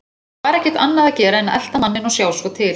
Það var ekkert annað að gera en að elta manninn og sjá svo til.